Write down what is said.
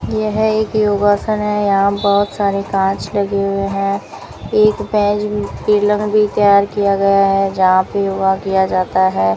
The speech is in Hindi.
यह एक योगासन है यहां बहोत सारे कांच लगे हुए हैं एक भी तैयार किया गया है जहां पर योग किया जाता है।